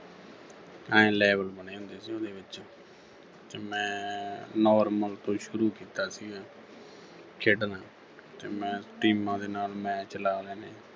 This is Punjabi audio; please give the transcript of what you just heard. ਆਏਂ level ਬਣੇ ਹੁੰਦੇ ਸੀ ਉਹਦੇ ਵਿੱਚ ਤੇ ਮੈਂ normal ਤੋਂ ਸ਼ੁਰੂ ਕੀਤਾ ਸੀਗਾ ਖੇਡਣਾ ਤੇ ਮੈਂ teams ਦੇ ਨਾਲ match ਲਾ ਲੈਣੇ